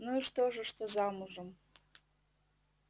ну и что же что замужем